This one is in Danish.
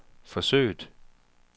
forsøget